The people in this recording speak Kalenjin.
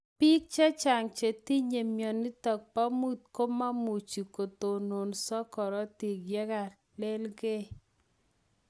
Piik chechang chetinye mionitok po muut komemuchii kotononsoo korotik yekalelgei.